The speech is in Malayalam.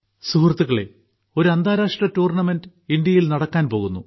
സുഹൃത്തുക്കളെ ഒരു അന്താരാഷ്ട്ര ടൂർണമെന്റ് ഇന്ത്യയിൽ നടക്കാൻ പോകുന്നു